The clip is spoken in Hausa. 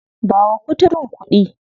Ba wa kuturun kuɗi nan.